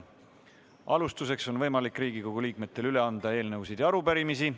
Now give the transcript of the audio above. Alustuseks on võimalik Riigikogu liikmetel üle anda eelnõusid ja arupärimisi.